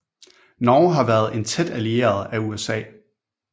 Norge har været en tæt allieret af USA